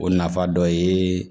O nafa dɔ ye